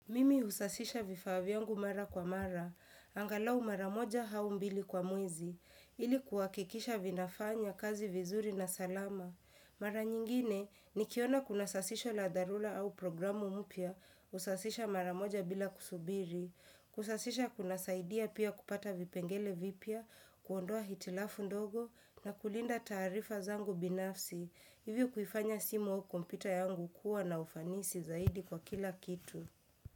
Mimi husasisha vifaa vyangu mara kwa mara, angalau mara moja hau mbili kwa mwezi, ili kuhakikisha vinafanya kazi vizuri na salama. Mara nyingine, nikiona kuna sasisho la dharula au programu mupya, usasisha mara moja bila kusubiri, kusasisha kunasaidia pia kupata vipengele vipya, kuondoa hitilafu ndogo na kulinda tarifa zangu binafsi, hivyo kuifanya simu au kompyuta yangu kuwa na ufanisi zaidi kwa kila kitu.